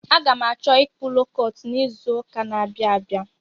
Aga m achọ ịkpụ lookọt n'izuụka n'abịa abịa.